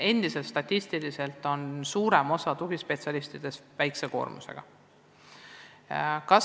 Endiselt töötab suurem osa tugispetsialistidest väikse koormusega.